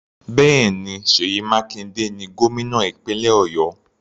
Bẹ́ẹ̀ni, Seyi Makinde ni gómìnà ìpínlẹ̀ Ọ̀yọ́.